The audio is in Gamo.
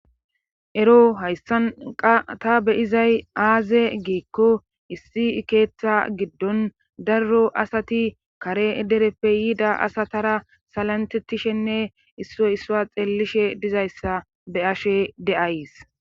Ero hayssan qasse be'izay aaze giikko issi keeththa giddon daro asati kare dereppe yiida asatara salantetishenne issoy issuwa xeellishe dizayssa be'ashe de'ays